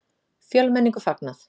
Fjölmenningu fagnað